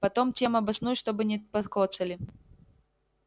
потом тем обоснуй чтобы не покоцали